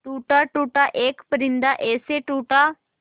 टूटा टूटा एक परिंदा ऐसे टूटा